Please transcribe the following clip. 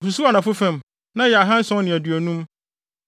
Osusuw anafo fam na ɛyɛ anammɔn ahanson ne aduonum.